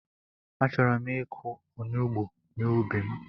Achọrọ m ịkụ onugbu n'ubi m